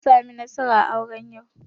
Ana samun nasara a aure yau